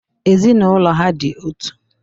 Ezinaụlọ ha dị otu.